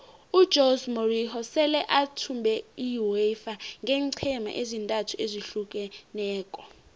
ujose morinho sele athumbe iuefa ngeenqhema ezintathu ezahlukeneko